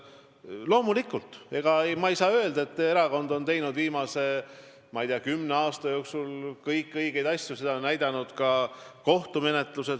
Loomulikult, ma ei saa öelda, et erakond on teinud viimase, ma ei tea, kümne aasta jooksul kõik asjad õigesti, seda on näidanud ka kohtumenetlused.